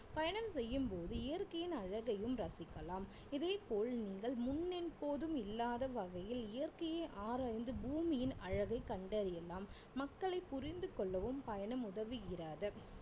பயணம் செய்யும்போது இயற்கையின் அழகையும் ரசிக்கலாம் இதே போல் நீங்கள் முன் எப்போதும் இல்லாத வகையில் இயற்கையை ஆராய்ந்து பூமியின் அழகை கண்டறியலாம் மக்களை புரிந்து கொள்ளவும் பயணம் உதவுகிறது